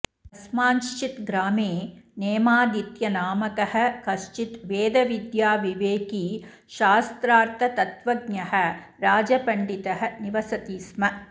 कस्मँश्चित् ग्रामे नेमादित्यनामकः कश्चित् वेदविद्याविवेकी शास्त्रार्थतत्त्वज्ञः राजपण्डितः निवसति स्म